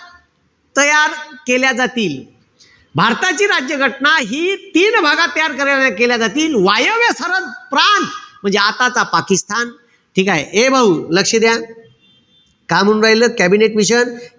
तयार केल्या जातील. भारताची राज्य घटना हि तीन भागात तयार के केल्या जातील. वायव्य सरहद प्रांत म्हणजे आताचा पाकिस्तान. ठीकेय? ए भाऊ, लक्ष द्या. का म्हणून राहिलत कॅबिनेट मिशन?